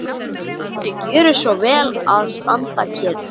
Og viltu gjöra svo vel að standa kyrr.